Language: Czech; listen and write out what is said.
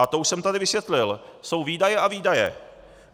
A to už jsem tady vysvětlil - jsou výdaje a výdaje.